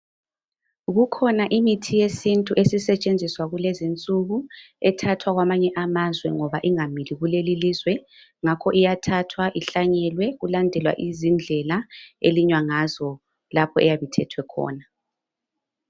Kukhona imithi yesintu esisetshenziswa kulezi insuku ethathwa kwamanye amazwe ngoba ingamili kuleli ilizwe, ngakho iyathathwa ihlanyelwe kulandelwa izindlela elinywa ngazo lapho eyabe ithethwe khona.